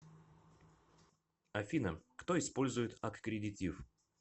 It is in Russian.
афина кто использует аккредитив